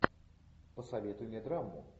посоветуй мне драму